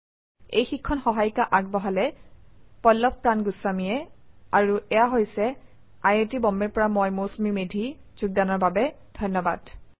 এই শিক্ষণ সহায়িকা আগবঢ়ালে পল্লভ প্ৰান গুস্বামীয়ে আই আই টী বম্বে ৰ পৰা মই মৌচুমী মেধী এতিয়া আপুনাৰ পৰা বিদায় লৈছো যোগদানৰ বাবে ধন্যবাদ